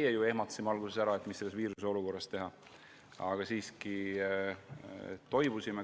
ju ehmatasime alguses ära ega teadnud, mida selle viiruse korral teha, aga me toibusime.